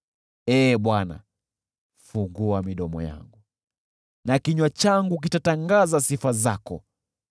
Ee Bwana , fungua midomo yangu, na kinywa changu kitatangaza sifa zako.